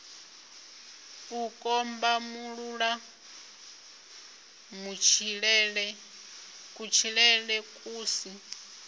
u kombamulula kutshilele ku si